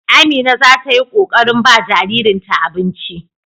Amina za ta yi ƙoƙarin ba jaririnta abinci.